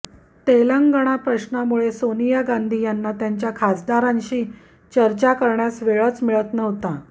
तेलंगाणा प्रश्नामुळे सोनिया गांधी यांना त्यांच्या खासदारांशी चर्चा करण्यास वेळच मिळत नव्हता